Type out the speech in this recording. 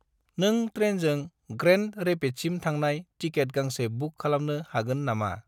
नों ट्रेनजों ग्रेन्ड रेपिड्ससिम थांनाय टिकेट गांसे बुक खालामनो हागोन नामा?